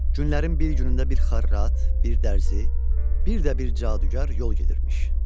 Günlərin bir günündə bir xarrat, bir dərzi, bir də bir cadugar yol gedirmiş.